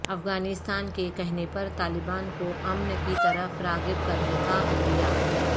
افغانستان کے کہنے پر طالبان کو امن کی طرف راغب کرنے کا عندیہ